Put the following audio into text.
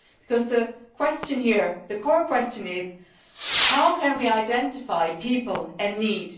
Because the question here, the core question, is how can we identify people in need?